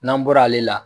N'an bɔra ale la